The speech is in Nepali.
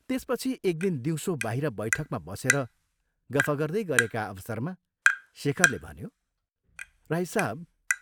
त्यसपछि एक दिन दिउँसो बाहिर बैठकमा बसेर गफ गर्दै गरेका अवसरमा शेखरले भन्यो, "राई साहब!